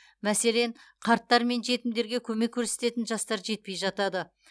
мәселен қарттар мен жетімдерге көмек көрсететін жастар жетпей жатады